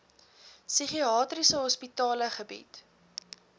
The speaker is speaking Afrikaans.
psigiatriese hospitale bied